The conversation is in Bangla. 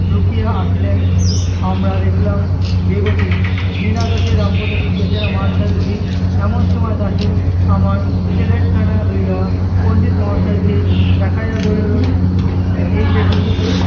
লুকিয়া আসিলেন আমরা দেখলাম বেগতিক বিনা দোষে রামপদ বেচারা মার্ খায় বুঝি। এমন সময় দাশু আমার slate খানা লইয়া পণ্ডিত মহাশয় কে দেখাইয়া বলিল, এই দেখুন